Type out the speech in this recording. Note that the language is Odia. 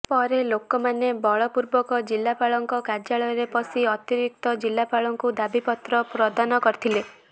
ପରେ ଲୋକମାନେ ବଳପୂର୍ବକ ଜିଲ୍ଲାପାଳଙ୍କ କାର୍ଯ୍ୟାଳୟରେ ପଶି ଅତିରିକ୍ତ ଜିଲ୍ଲାପାଳଙ୍କୁ ଦାବିପତ୍ର ପ୍ରଦାନ କରିଥିଲେ